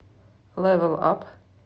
лэвэл ап